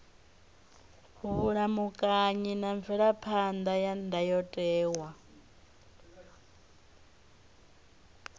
vhulamukanyi na mvelaphan ḓa ya ndayotewa